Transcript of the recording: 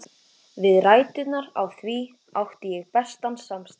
Við ræturnar á því átti ég bestan samastað.